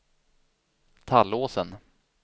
Tallåsen